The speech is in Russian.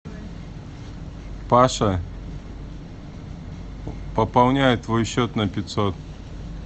паша пополняю твой счет на пятьсот